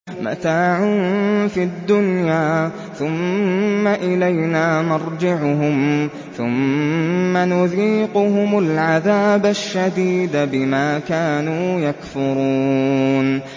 مَتَاعٌ فِي الدُّنْيَا ثُمَّ إِلَيْنَا مَرْجِعُهُمْ ثُمَّ نُذِيقُهُمُ الْعَذَابَ الشَّدِيدَ بِمَا كَانُوا يَكْفُرُونَ